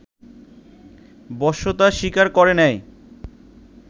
বশ্যতা স্বীকার করে নেয়